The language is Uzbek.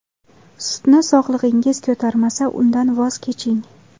Sutni sog‘lig‘ingiz ko‘tarmasa, undan voz keching.